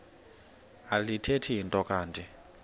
alithethi nto kanti